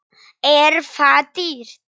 Er það dýrt?